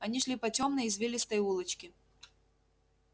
они шли по тёмной извилистой улочке